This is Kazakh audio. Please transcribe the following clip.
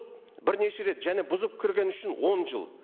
бірнеше рет және бұзып кіргені үшін он жыл